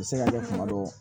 U bɛ se ka kɛ kuma dɔw